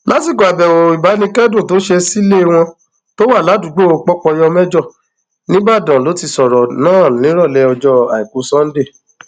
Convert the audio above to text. lásìkò àbẹwò ìbánikẹdùn tó ṣe sílẹ wọn tó wà ládùúgbò pọpọyọmẹjọ ńìbàdàn ló ti sọrọ náà nírọlẹ ọjọ àìkú sannde